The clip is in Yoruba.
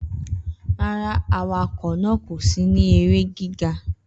Rara, awakọ naa ko si ni ere giga.